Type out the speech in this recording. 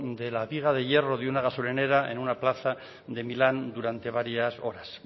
de la viga de hierro de una gasolinera en una plaza de milán durante varias horas